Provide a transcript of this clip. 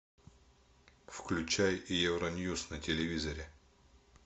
включай евроньюс на телевизоре